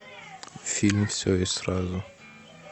фильм все и сразу